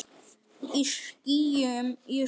Í skýjum ég svíf.